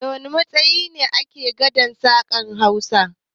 Waɗanne matsayi ne ake gadan sa a ƙasar Hausa?